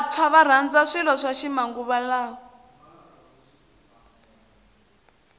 vantshwa varandza swilo swa ximanguva lawa